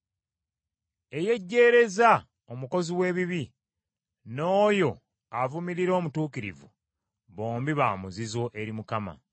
Eyejjeereza omukozi w’ebibi n’oyo avumirira omutuukirivu, bombi ba muzizo eri Mukama .